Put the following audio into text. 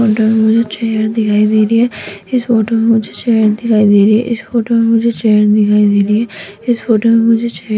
इस फोटो मे मुझे चेयर दिखाई दे रही है इस फोटो मे मुझे चेयर दिखाई दे रही है इस फोटो मे मुझे चेयर दिखाई दे रही है इस फोटो मे मुझे चेयर --